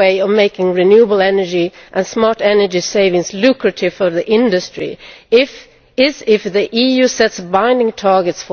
way of making renewable energy and smart energy savings lucrative for the industry is if the EU sets binding targets